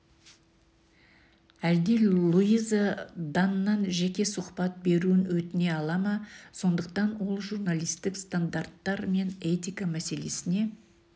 әлде луиза даннан жеке сұхбат беруін өтіне ала ма сондықтан ол журналистік стандарттар мен этика мәселесіне